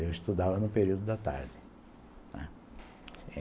Eu estudava no período da tarde, né.